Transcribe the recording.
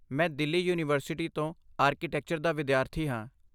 ਮੈਂ ਦਿੱਲੀ ਯੂਨੀਵਰਸਿਟੀ ਤੋਂ ਆਰਕੀਟੈਕਚਰ ਦਾ ਵਿਦਿਆਰਥੀ ਹਾਂ।